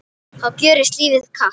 þá gjörist lífið kalt.